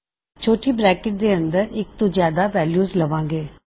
ਛੋਟੀ ਬਰੈਕਟ ਦੇ ਅੰਦਰ ਅਸੀਂ ਇੱਕ ਤੋਂ ਜਿਆਦਾ ਵੈਲਯੂਜ਼ ਲਵਾਂਗੇ